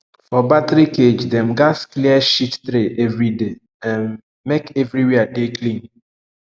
for battery cage dem gatz clear shit tray every day um make everywhere dey clean